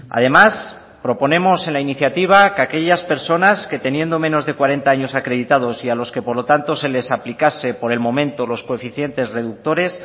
además proponemos en la iniciativa que aquellas personas que teniendo menos de cuarenta años acreditados y a los que por lo tanto se les aplicase por el momento los coeficientes reductores